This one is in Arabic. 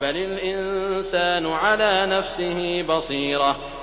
بَلِ الْإِنسَانُ عَلَىٰ نَفْسِهِ بَصِيرَةٌ